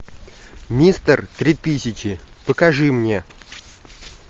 мистер три тысячи покажи мне